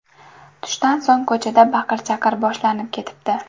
Tushdan so‘ng ko‘chada baqir-chaqir boshlanib ketibdi.